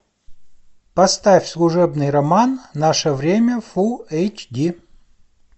поставь служебный роман наше время фул эйч ди